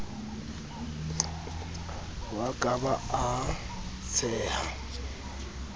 wa ka ba a tsheha